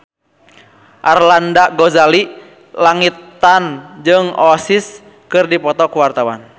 Arlanda Ghazali Langitan jeung Oasis keur dipoto ku wartawan